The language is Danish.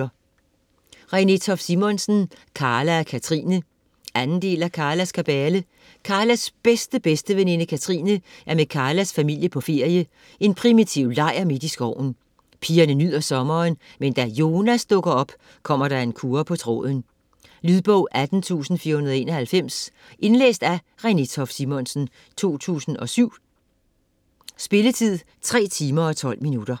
Toft Simonsen, Renée: Karla og Katrine 2. del af Karlas kabale. Karlas bedste-bedsteveninde Katrine er med Karlas familie på ferie, en primitiv lejr midt i skoven. Pigerne nyder sommeren, men da Jonas dukker op kommer der en kurre på tråden. Lydbog 18491 Indlæst af Renée Toft Simonsen, 2007. Spilletid: 3 timer, 12 minutter.